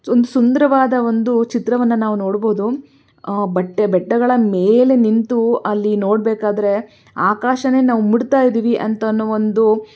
ಒಂದು ಸುಂದರವಾದ ಒಂದು ಚಿತ್ರವನ್ನು ನಾವು ನೋಡಬಹುದು ಆಹ್ ಬಟ್ಟೆ ಬೆಟ್ಟಗಳ ಮೇಲೆ ನಿಂತು ಅಲ್ಲಿ ನೋಡಬೇಕಾದರೆ ಆಕಾಶವೇ ನಾವು ಮುಟ್ತಾ ಇದೀವಿ ಅಂತ ಒಂದು.--